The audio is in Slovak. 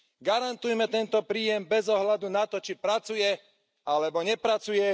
Garantujme tento príjem bez ohľadu na to, či pracuje alebo nepracuje.